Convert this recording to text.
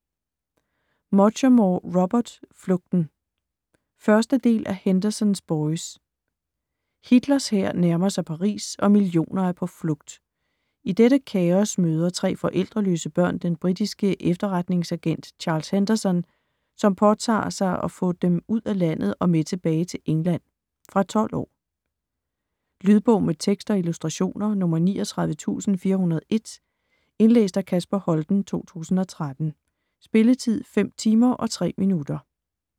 Muchamore, Robert: Flugten 1. del af Henderson's boys. Hitlers hær nærmer sig Paris og millioner er på flugt. I dette kaos møder tre forældreløse børn den britiske efterretningsagent Charles Henderson, som påtager at få den ud af landet og med tilbage til England. Fra 12 år. Lydbog med tekst og illustrationer 39401 Indlæst af Kasper Holten, 2013. Spilletid: 5 timer, 3 minutter.